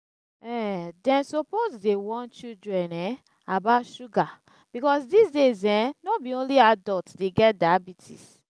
um dem suppose dey warn children um about sugar because dis days um no be only adult dey get diabetes